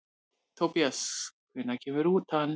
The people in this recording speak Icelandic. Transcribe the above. Tobías, hvenær kemur nían?